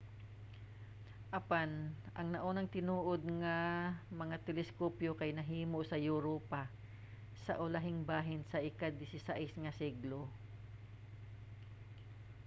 apan ang naunang tinuod nga mga teleskopyo kay nahimo sa europa sa ulahing bahin sa ika-16 nga siglo